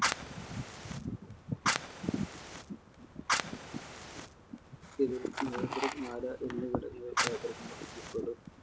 ഇതിൽ മോതിരം മാല എന്നി